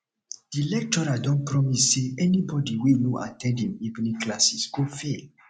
di lecturer don promise say anybody wey no at ten d him evening classes go fail